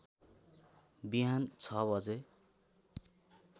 बिहान ६ बजे